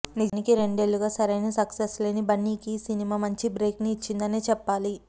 నిజానికి రెండేళ్లుగా సరైన సక్సెస్ లేని బన్నీకి ఈ సినిమా మంచి బ్రేక్ ని ఇచ్చిందనే చెప్పాలి